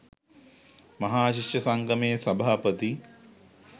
මහා ශිෂ්‍ය සංගමයේ සභාපති